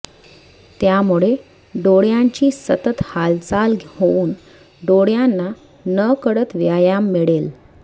त्यामुळे डोळ्यांची सतत हालचाल होऊन डोळ्यांना नकळत व्यायाम मिळेल